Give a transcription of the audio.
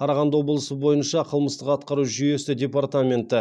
қарағанды облысы бойынша қылмыстық атқару жүйесі департаменті